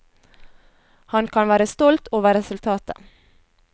Han kan være stolt over resultatet.